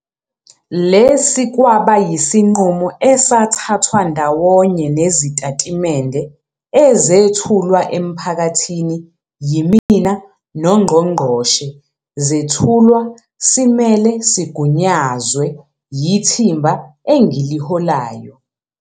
Lesi kwaba yisinqumo esathathwa ndawonye nezitatimende ezethulwa emphakathini yimina noNgqongqoshe zethulwa simele, sigunyazwe, yithimba engiliholayo.